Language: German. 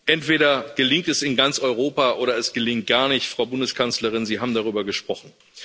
Entweder gelingt es in ganz Europa oder es gelingt gar nicht Frau Bundeskanzlerin, Sie haben darüber gesprochen.